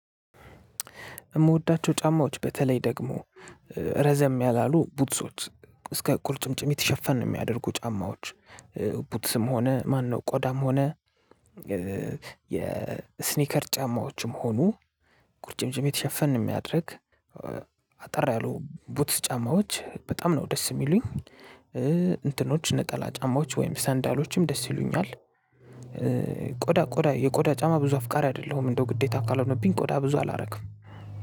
እምወዳቸው ጫማዎች በተለይ ደግሞ ረዘም ያላሉ ቡትሶች እስከ ቁርጭምጭሚት ሸፈን እሚያደርጉ ጫማዎች ቡትስም ሆነ ማነው ቆዳም ሆነ የስኒከር ጫማዎችም ሆኖ ቁርጭምጭሚት ሸፈን እሚያደርግ አጠር ያሉ ቡትስ ጫማዎች በጣም ነው ደስ እሚሉኝ። እንትኖች ነጠላ ጫማዎች ወይም ሰንደሎችም ደስ ይሉኛል። ቆዳ ቆዳ የቆዳ ጫማ ብዙ አፍቃሪ አይደለሁም እንደው ግዴታ ካልሆነብኝ ቆዳ ብዙ አላረግም።